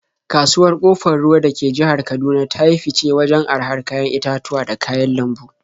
Kasuwar Ƙofar Ruwa da ke jihar Kaduna ta yi fice wajen arahar kayan itatuwa da kayan lambu.